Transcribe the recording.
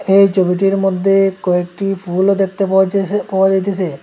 এই ছবিটির মইধ্যে কয়েকটি ফুলও দেখতে পাওয়া যায়সে পাওয়া যাইতেসে।